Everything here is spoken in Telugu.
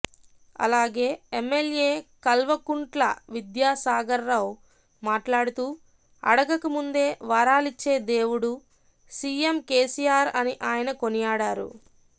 అలాగే ఎమ్మెల్యే కల్వకుంట్ల విద్యాసాగర్రావు మాట్లాడుతూ అడగకముందే వరాలిచ్చే దేవుడు సీఎం కేసీఆర్ అని ఆయన కొనియాడారు